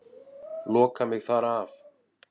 Loka mig þar af.